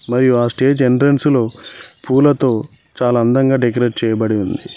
మరియు ఆ stage entrance లో పూలతో చాలా అందంగా డెకరేట్ చేయబడి ఉంది.